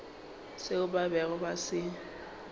seo ba bego ba se